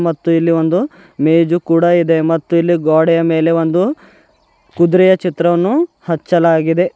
ಮತ್ತು ಇಲ್ಲಿ ಒಂದು ಮೇಜು ಕೂಡ ಇದೆ ಮತ್ತು ಇಲ್ಲಿ ಗೋಡೆಯ ಮೇಲೆ ಒಂದು ಕುದುರೆಯ ಚಿತ್ರವನ್ನು ಹಚ್ಚಲಾಗಿದೆ.